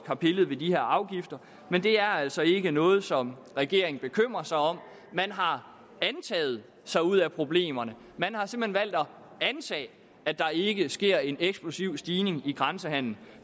har pillet ved de her afgifter men det er altså ikke noget som regeringen bekymrer sig om man har antaget sig ud af problemerne man har simpelt at antage at der ikke sker en eksplosiv stigning i grænsehandelen